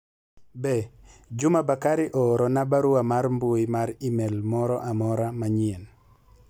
be Juma bakari ooro na barua mar mbui mar email moro amora manyien